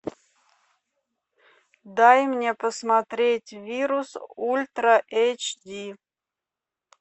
дай мне посмотреть вирус ультра эйч ди